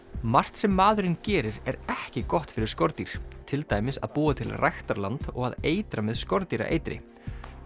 margt sem maðurinn gerir er ekki gott fyrir skordýr til dæmis að búa til ræktarland og að eitra með skordýraeitri